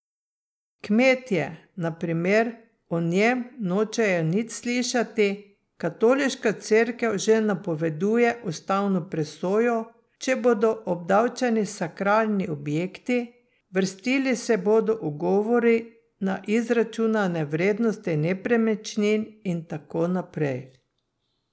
Kmetje, na primer, o njem nočejo nič slišati, katoliška cerkev že napoveduje ustavno presojo, če bodo obdavčeni sakralni objekti, vrstili se bodo ugovori na izračunane vrednosti nepremičnin in tako naprej.